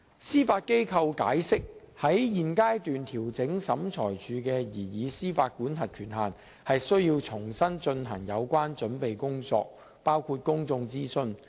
司法機構解釋，在現階段調整審裁處的司法管轄權限，須重新進行有關準備工作，包括公眾諮詢。